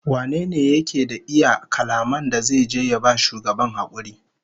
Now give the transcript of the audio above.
Wane ne yake da iya kalaman da zai je ya ba shugaban hakuri?